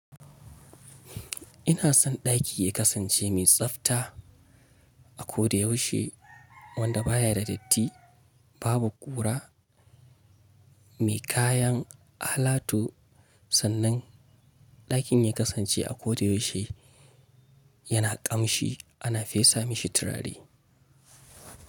Ina son ɗaki ya kasance mai tsafta a ko da yaushe, wanda baya da datti, babu ƙura, mai kayan alatu. Sannan ɗakin ya kasance a ko da yaushe yana ƙamshi, ana fesa mashi turare.